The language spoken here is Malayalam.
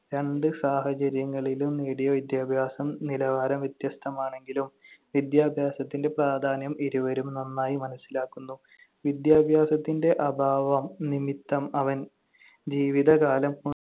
രണ്ട് സാഹചര്യങ്ങളിലും നേടിയ വിദ്യാഭ്യാസം നിലവാരം വ്യത്യസ്തമാണെങ്കിലും വിദ്യാഭ്യാസത്തിന്‍റെ പ്രാധാന്യം ഇരുവരും നന്നായി മനസ്സിലാക്കുന്നു. വിദ്യാഭ്യാസത്തിന്‍റെ അഭാവം നിമിത്തം അവൻ ജീവിതകാലം